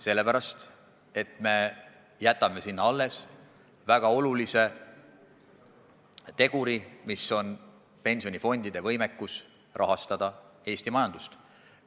Sellepärast, et me jätame sinna alles väga olulise teguri: see on pensionifondide võimekus rahastada Eesti majandust.